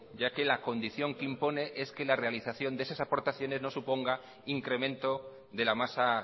ya que la condición que impone es que la realización de esas aportaciones no suponga incremento de la masa